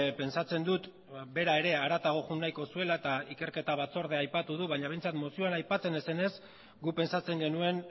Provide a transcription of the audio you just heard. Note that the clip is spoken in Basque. pentsatzen dut bera ere haratago joan nahiko zuela eta ikerketa batzordea aipatu du baina behintzat mozioan aipatzen ez zenez guk pentsatzen genuen